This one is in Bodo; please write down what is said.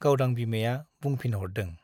गावदां बिमाया बुंफिनहरदों ।